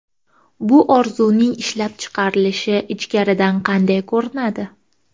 Bu orzuning ishlab chiqarilishi ichkaridan qanday ko‘rinadi?